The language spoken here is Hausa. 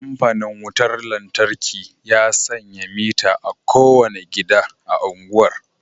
Kamfanin wutar lantarki ya sanya mitter a kowane gida a unguwar